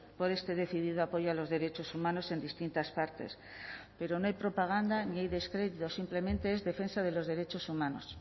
por este decidido apoyo a los derechos humanos en distintas partes pero no hay propaganda ni hay descrédito simplemente es defensa de los derechos humanos